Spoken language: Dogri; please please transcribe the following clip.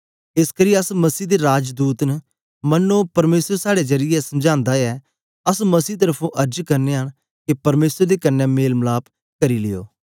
एसकरी अस मसीह दे राजदूत न मन्नो परमेसर साड़े जरीयै समझांदा ऐ अस मसीह तरफुं अर्ज करनयां न के परमेसर दे कन्ने मेल मलाप करी लियो